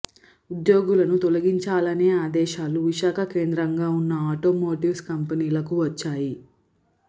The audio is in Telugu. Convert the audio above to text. ఉద్యోగులను తొలగించాలనే ఆదేశాలు విశాఖ కేంద్రంగా ఉన్న ఆటోమోటివ్స్ కంపెనీలకు వచ్చాయి